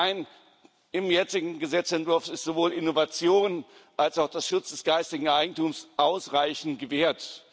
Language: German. Nein, im jetzigen Gesetzentwurf ist sowohl Innovation als auch der Schutz des geistigen Eigentums ausreichend gewährt.